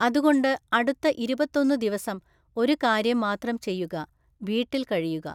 അതുകൊണ്ട് അടുത്ത ഇരുപത്തൊന്നു ദിവസം ഒരു കാര്യം മാത്രം ചെയ്യുക വീട്ടില്‍ കഴിയുക.